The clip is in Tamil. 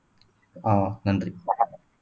ஆஹ் நன்றி